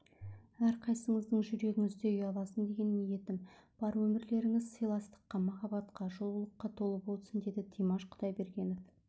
әрқайсыңыздың жүрегіңізде ұяласын деген ниетім бар өмірлеріңіз сыйластыққа махаббатқа жылулыққа толы болсын деді димаш құдайберген